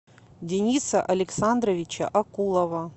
дениса александровича акулова